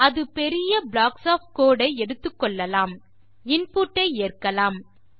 அது பெரிய blocks of code ஐ எடுத்துக்கொள்ளலாம் இன்புட் ஐ ஏற்கலாம்